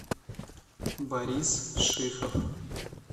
борис шихов